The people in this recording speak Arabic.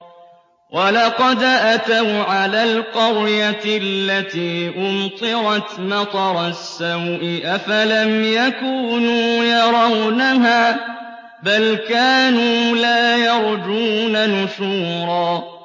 وَلَقَدْ أَتَوْا عَلَى الْقَرْيَةِ الَّتِي أُمْطِرَتْ مَطَرَ السَّوْءِ ۚ أَفَلَمْ يَكُونُوا يَرَوْنَهَا ۚ بَلْ كَانُوا لَا يَرْجُونَ نُشُورًا